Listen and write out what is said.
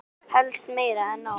Helst meira en nóg.